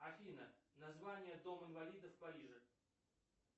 афина название дом инвалидов в париже